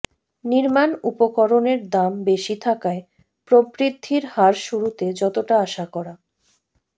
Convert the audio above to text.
নির্মাণ উপকরণের দাম বেশি থাকায় প্রবৃদ্ধির হার শুরুতে যতটা আশা করা